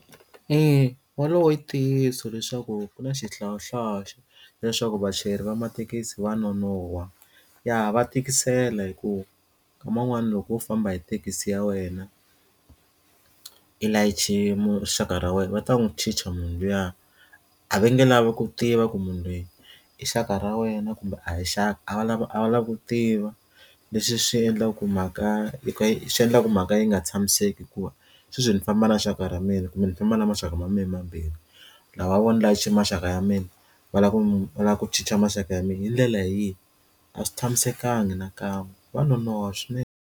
Eya, wolowo i ntiyiso leswaku ku na xihlawuhlawu leswaku vachayeri va mathekisi va nonoha, ya va tikisela hikuva nkama un'wani loko wo famba hi thekisi ya wena i layiche rixaka ra wena va ta n'wi chicha munhu luya a va nge lava ku tiva ku munhu loyi i xaka ra wena kumbe a hi xaka a va lava a va lava ku tiva leswi swi endlaka ku mhaka ya ku swi endlaku mhaka yi nga tshamiseki hikuva sweswo ni famba na rixaka ra mina kumbe ni famba na maxaka ma mehe mambirhi lava vona layicha maxaka ya mina va lava ku lava ku chicha maxaka ya mina hi ndlela leyi a swi tshamisekanga nakan'we wa nonoha swinene.